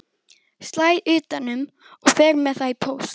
Slæ utan um og fer með það í póst.